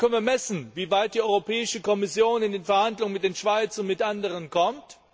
Dann können wir messen, wie weit die Europäische Kommission in den Verhandlungen mit der Schweiz und mit anderen kommt.